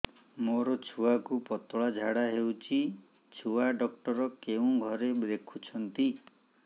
ମୋର ଛୁଆକୁ ପତଳା ଝାଡ଼ା ହେଉଛି ଛୁଆ ଡକ୍ଟର କେଉଁ ଘରେ ଦେଖୁଛନ୍ତି